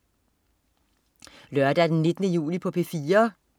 Lørdag den 19. juli - P4: